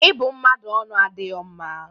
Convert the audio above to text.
Ịbụ mmadụ ọnụ adighọ mma